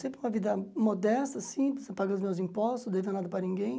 Sempre uma vida modesta, simples, paguei os meus impostos, não devia nada para ninguém.